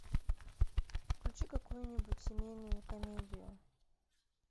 включи какую нибудь семейную комедию